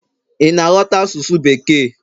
ị na ghọta asụsụ bekee?